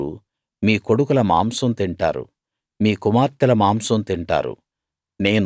మీరు మీ కొడుకుల మాంసం తింటారు మీ కుమార్తెల మాంసం తింటారు